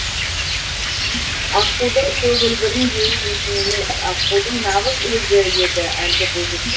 аққудың көгілдіріндей дейтін емес аққудың нағыз өзі еді әлгі бойжеткен